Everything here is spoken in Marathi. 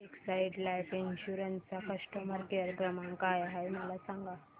एक्साइड लाइफ इन्शुरंस चा कस्टमर केअर क्रमांक काय आहे मला सांगा